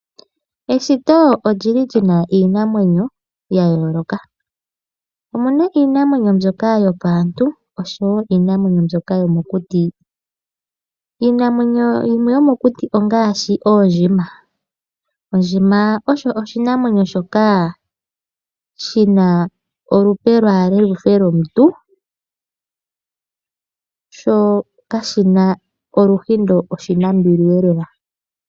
Eshito olili lina iinamwenyo ya yooloka. Omuna iinamwenyo mbyoka yopaantu oshowo iinamwenyo mbyoka yomokuti. Iinamwenyo yimwe yomokuti ongaashi oondjima. Ondjima osho oshinamwenyo shoka shina olupe ambala luhe lwomuntu sho kashina oluhindo oshinambili lela.